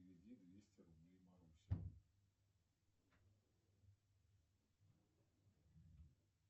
переведи двести рублей марусе